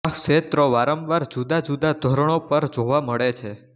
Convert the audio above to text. આ ક્ષેત્રો વારંવાર જુદાજુદા ધોરણો પર જોવા મળે છે